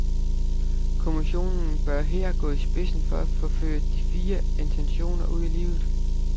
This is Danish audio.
Kommissionen bør her gå i spidsen for at få ført de fine intentioner ud i livet.